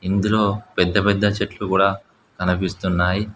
ఇందులో పెద్ద పెద్ద చెట్లు కూడా కనిపిస్తున్నాయి.